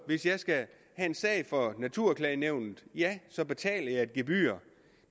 hvis jeg skal have en sag for naturklagenævnet ja så betaler jeg et gebyr